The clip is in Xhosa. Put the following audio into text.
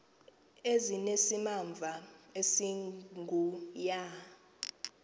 ezinesimamva esingu ya